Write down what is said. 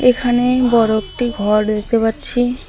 এখানে বড় একটি ঘর দেখতে পাচ্ছি।